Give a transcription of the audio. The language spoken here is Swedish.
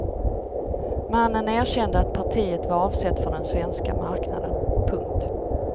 Mannen erkände att partiet var avsett för den svenska marknaden. punkt